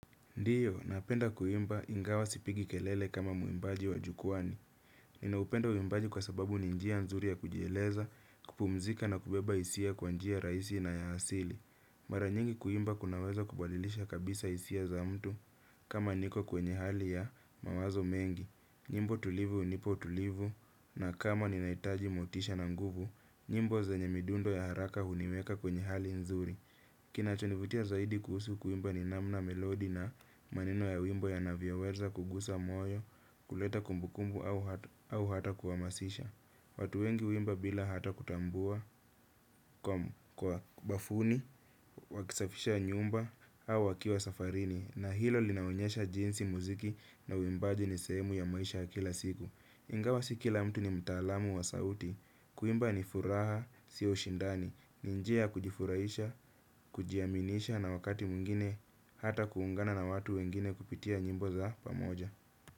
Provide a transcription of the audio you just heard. Ndiyo, napenda kuimba ingawa sipigi kelele kama mwimbaji wa jukwani. Ninaupenda uwimbaji kwa sababu ni njia nzuri ya kujieleza, kupumzika na kubeba hisia kwa njia raisi na ya asili. Mara nyingi kuimba kunaweza kubadilisha kabisa hisia za mtu kama niko kwenye hali ya mawazo mengi. Nyimbo tulivu unipa tulivu na kama ninahitaji motisha na nguvu, nyimbo zenye midundo ya haraka huniweka kwenye hali nzuri. Kinacho nivutia zaidi kuhusu kuimba ni namna melodi na maneno ya wimbo yanavyoweza kugusa moyo, kuleta kumbukumbu au hata kuhamasisha. Watu wengi huimba bila hata kutambua kwa bafuni, waki safisha nyumba au wakiwa safarini na hilo linaonyesha jinsi muziki na uwimbaji ni sehemu ya maisha kila siku. Ingawa si kila mtu ni mtaalamu wa sauti kuimba ni furaha, siyo ushindani. Ni njia ya kujifurahisha, kujiaminisha na wakati mwingine hata kuungana na watu wengine kupitia nyimbo za pamoja.